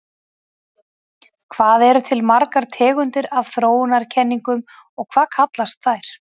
Hvað eru til margar tegundir af þróunarkenningum og hvað kallast þær?